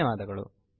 ಧನ್ಯವಾದಗಳು